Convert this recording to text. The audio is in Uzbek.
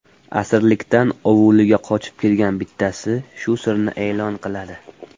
Asirlikdan ovuliga qochib kelgan bittasi shu sirni e’lon qiladi.